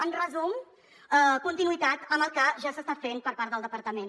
en resum conti·nuïtat amb el que ja s’està fent per part del departament